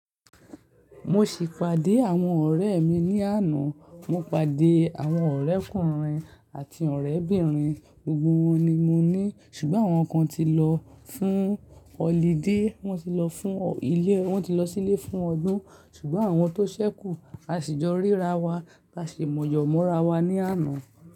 Mo ṣì pàdé àwọn ọ̀rẹ́ mi ní àná. Mo pàdé àwọn ọ̀rẹ́kùnrin àti ọ̀rẹ́bìnrin, gbogbo wọn ni mo ní ṣùgbọ́n àwọn kan ti lọ fún holiday. Wọ́n ti lọ fún ilé, wọ́n ti lọ sílé fún ọdún ṣùgbọ́n àwọn tó ṣẹ́kù, a sì jọ ríra wa, a sì mọ̀ yọ̀mọ́ra wa ní àná.